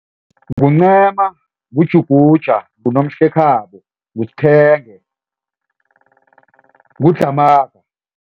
NguNcema, nguJuguja nguNomhlekhabo nguSphenge, nguDlhamaga.